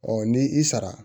ni i sara